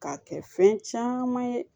K'a kɛ fɛn caman ye